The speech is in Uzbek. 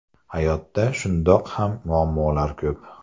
Hayotda shundoq ham muammolar ko‘p.